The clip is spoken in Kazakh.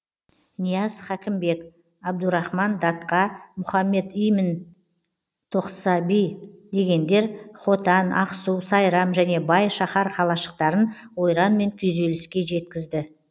нияз хәкімбек абдурахман датқа мұхаммед имин тоқсаби дегендер хотан ақсу сайрам және бай шаһар қалашықтарын ойран мен күйзеліске жеткізді